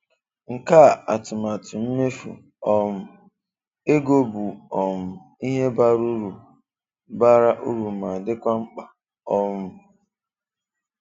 Nkà atụmatụ mmefu um egó bụ um ihe bara uru bara uru ma dịkwa mkpá. um